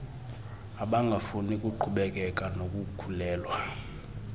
abangafuni kuqhubekeka nokukhulelwa